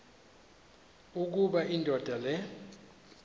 ukuba indoda le